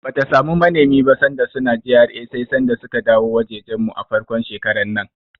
Bata samu manemi ba sanda suna GRA sai sanda suka dawo wajejen mu, a farkon shekarar nan.